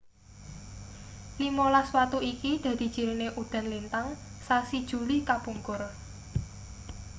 limolas watu iki dadi cirine udan lintang sasi juli kapungkur